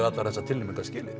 allar þessar tilnefningar skilið